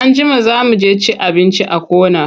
Anjima za mu je cin abinci a corner.